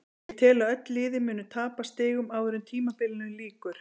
Ég tel að öll liðin muni tapa stigum áður en tímabilinu lýkur.